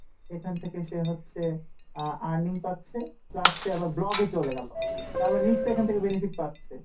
এখান থেকে সে হচ্ছে আহ earning পাচ্ছে plus সে আবার vlog এ চলে গেলো তারমানে নিশ্চয় এখান থেকে benefit পাচ্ছে,